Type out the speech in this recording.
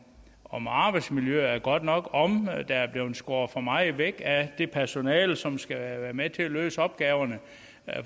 om arbejdsmiljøet er godt nok om der er blevet skåret for meget væk af det personale som skal være med til at løse opgaverne